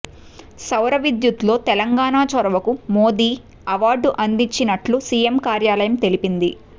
సౌర విద్యుత్ లో తెలంగాణ చొరవకు మోడీ అవార్డు అందించినట్లు సిఎం కార్యాలయం తెలిపింది